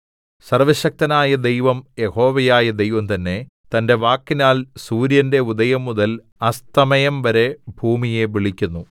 സർവ്വശക്തനായ ദൈവം യഹോവയായ ദൈവം തന്നെ തന്റെ വാക്കിനാൽ സൂര്യന്റെ ഉദയംമുതൽ അസ്തമയംവരെ ഭൂമിയെ വിളിക്കുന്നു